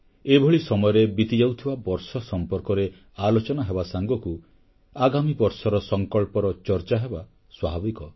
ଏଭଳି ସମୟରେ ବିତିଯାଉଥିବା ବର୍ଷ ସମ୍ପର୍କରେ ଆଲୋଚନା ହେବା ସାଙ୍ଗକୁ ଆଗାମୀ ବର୍ଷର ସଂକଳ୍ପର ଚର୍ଚ୍ଚା ହେବା ସ୍ୱାଭାବିକ